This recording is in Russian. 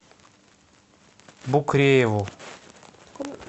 букрееву